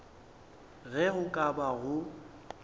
ge go ka ba go